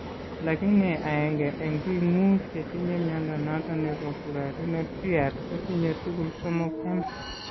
Lakini aenge en biik muut chetinye mnyondo noton nebo Currarino triad kotinye tugul somok em